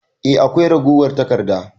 Eh akwai ragowar taƙarda.